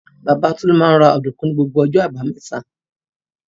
Bàbá Tolú máa ń ra ọ̀dùnkún ní gbogbo ọjọ́ àbámẹ́ta.